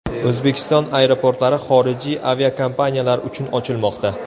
O‘zbekiston aeroportlari xorijiy aviakompaniyalar uchun ochilmoqda.